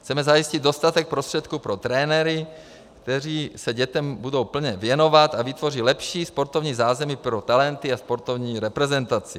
Chceme zajistit dostatek prostředků pro trenéry, kteří se dětem budou plně věnovat a vytvoří lepší sportovní zázemí pro talenty a sportovní reprezentaci.